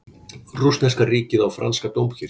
Rússneska ríkið á franska dómkirkju